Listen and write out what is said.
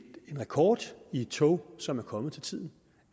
rekord i tog som er kommet til tiden